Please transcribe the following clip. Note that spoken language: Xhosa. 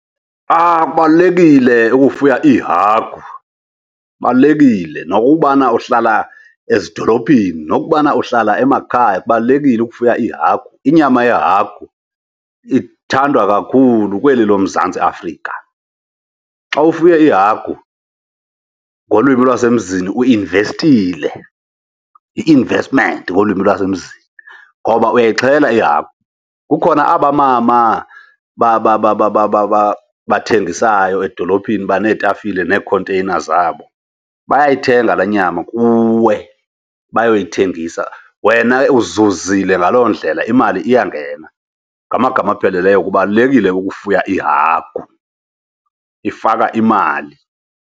Kubalulekile ukufuya iihagu, kubalulekile. Nokubana uhlala ezidolophini, nokubana uhlala emakhaya kubalulekile ukufuya iihagu, inyama yehagu ithandwa kakhulu kweli loMzantsi Afrika. Xa ufuye iihagu ngolwimi lwasemzini uinvestile, yi-investment ngolwimi lwasemzini. Ngoba uyayixhela ihagu, kukhona aba mama bathengisayo edolophini baneetafile neekhonteyina zabo, bayayithenga laa nyama kuwe bayoyithengisa. Wena uzuzile ngaloo ndlela, imali iyangena. Ngamagama apheleleyo kubalulekile ukufuya iihagu, ifaka imali.